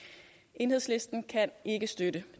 enhedslisten kan ikke støtte